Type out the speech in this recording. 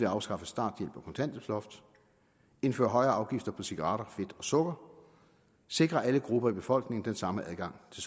at afskaffe starthjælp og kontanthjælpsloft indføre højere afgifter på cigaretter fedt og sukker sikre alle grupper i befolkningen den samme adgang til